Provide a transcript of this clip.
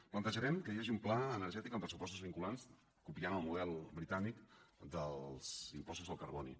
plantejarem que hi hagi un pla energètic amb pressupostos vinculants copiant el model britànic dels impostos del carboni